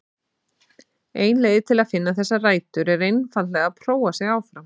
Ein leið til að finna þessar rætur er einfaldlega að prófa sig áfram.